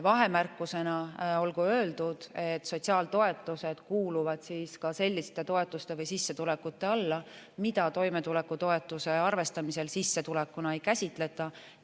Vahemärkusena olgu öeldud, et sotsiaaltoetused kuuluvad ka selliste toetuste või sissetulekute alla, mida toimetulekutoetuse arvestamisel sissetulekuna ei käsitleta.